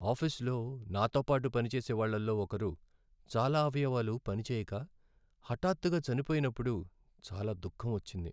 ఆఫీసులో నాతో పాటు పనిచేసేవాళ్ళలో ఒకరు చాలా అవయవాలు పనిచేయక, హఠాత్తుగా చనిపోయినప్పుడు చాలా దుఃఖం వచ్చింది.